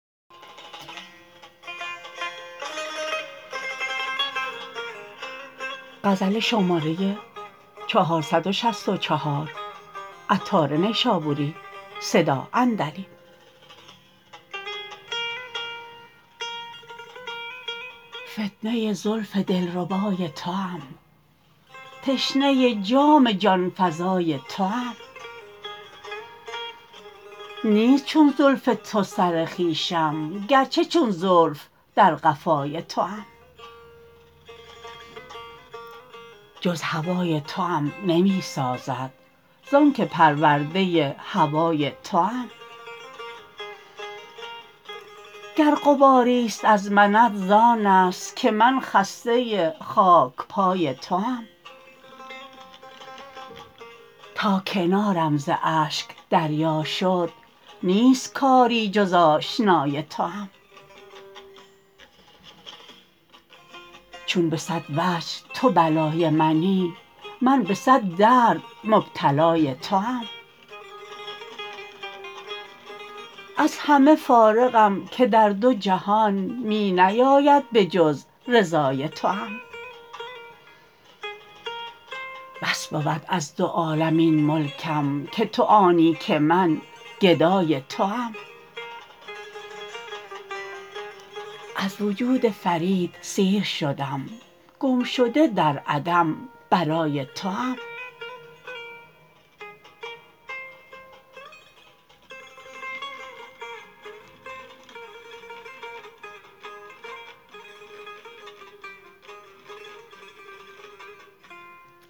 فتنه زلف دلربای توام تشنه جام جانفزای توام نیست چون زلف تو سر خویشم گرچه چون زلف در قفای توام جز هوای توام نمی سازد زانکه پرورده هوای توام گر غباری است از منت زآن است که من خسته خاک پای توام تا کنارم ز اشک دریا شد نیست کاری جز آشنای توام چون به صد وجه تو بلای منی من به صد درد مبتلای توام از همه فارغم که در دو جهان می نیاید به جز رضای توام بس بود از دو عالم این ملکم که تو آنی که من گدای توام از وجود فرید سیر شدم گمشده در عدم برای توام